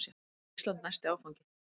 Var Ísland næsti áfanginn?